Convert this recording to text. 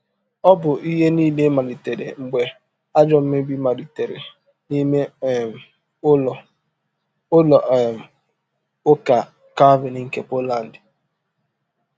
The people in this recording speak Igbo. Ọ bụ ihe nile malitere mgbe ajọ mmebi malitere n’ime um ụlọ ụlọ um ụka Calvin nke Poland.